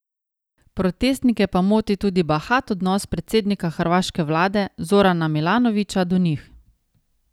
Protestnike pa moti tudi bahat odnos predsednika hrvaške vlade Zorana Milanovića do njih.